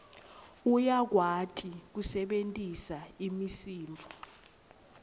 uyakwati kusebentisa imisindvo